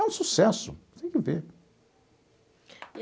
É um sucesso, tem que ver.